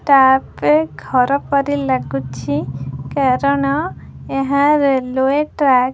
Trap ଘର ପରି ଲାଗୁଛି କାରଣ ଏହା ରେଲୱେ ଟ୍ରାକ ।